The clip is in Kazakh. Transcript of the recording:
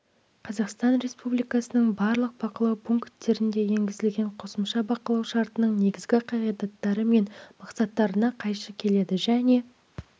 қазақстан республикасының барлық бақылау пункттерінде енгізген қосымша бақылау шартының негізгі қағидаттары мен мақсаттарына қайшы келеді және